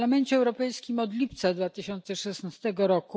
W Parlamencie Europejskim od lipca 2016 r.,